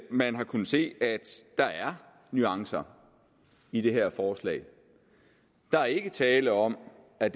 man har kunnet se at der er nuancer i det her forslag der er ikke tale om at